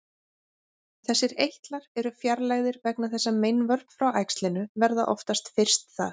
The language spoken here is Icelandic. Þessir eitlar eru fjarlægðir vegna þess að meinvörp frá æxlinu verða oftast fyrst þar.